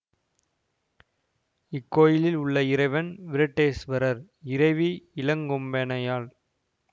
இக்கோயிலில் உள்ள இறைவன் வீரட்டேஸ்வரர் இறைவி இளங்கொம்பனையாள்